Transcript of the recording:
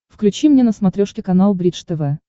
включи мне на смотрешке канал бридж тв